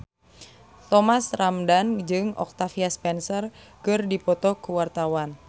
Thomas Ramdhan jeung Octavia Spencer keur dipoto ku wartawan